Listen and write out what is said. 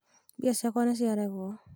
mbia cĩakwa nĩ ciarengwo